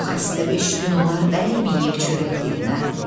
Bu xəstə beş gün olar dəyməyib çörək dilinə.